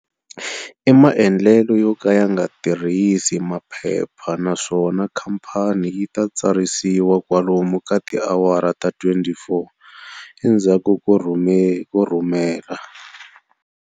I mandlelo yo ka ya nga tirhisi maphepha naswona khamphani yi ta tsarisiwa kwalomu ka tiawara ta 24 endzhaku ko rhumela.